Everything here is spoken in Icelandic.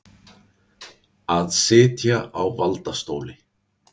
Að sitja á valdastóli